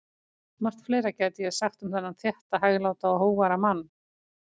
Margt fleira gæti ég sagt um þennan þétta, hægláta og hógværa mann.